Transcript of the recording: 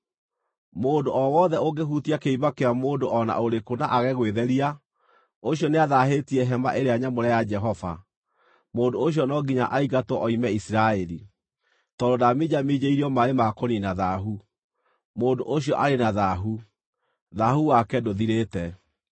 Mũndũ o wothe ũngĩhutia kĩimba kĩa mũndũ o na ũrĩkũ na aage gwĩtheria, ũcio nĩathaahĩtie Hema-ĩrĩa-Nyamũre ya Jehova. Mũndũ ũcio no nginya aingatwo oime Isiraeli. Tondũ ndaminjaminjĩirio maaĩ ma kũniina thaahu, mũndũ ũcio arĩ na thaahu; thaahu wake ndũthirĩte.